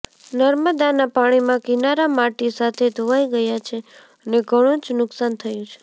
નર્મદાના પાણીમાં કિનારા માટી સાથે ધોવાઇ ગયા છે અને ઘણુ જ નુકસાન થયું છે